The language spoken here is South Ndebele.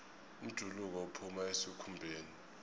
umjuluko uphuma esikhumbeni